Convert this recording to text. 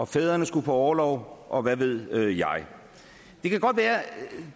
fædrene skulle på orlov og hvad ved jeg det kan godt være at